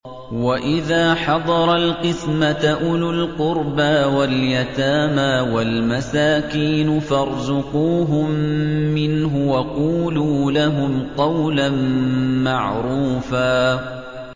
وَإِذَا حَضَرَ الْقِسْمَةَ أُولُو الْقُرْبَىٰ وَالْيَتَامَىٰ وَالْمَسَاكِينُ فَارْزُقُوهُم مِّنْهُ وَقُولُوا لَهُمْ قَوْلًا مَّعْرُوفًا